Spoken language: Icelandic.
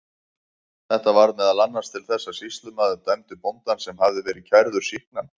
Þetta varð meðal annars til þess að sýslumaður dæmdi bóndann, sem hafði verið kærður, sýknan.